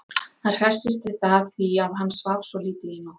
Hann hressist við það því að hann svaf svo lítið í nótt.